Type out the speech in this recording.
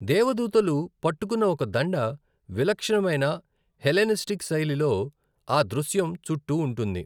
దేవదూతలు పట్టుకున్న ఒక దండ విలక్షణమైన హెలెనిస్టిక్ శైలిలో ఆ దృశ్యం చుట్టూ ఉంటుంది.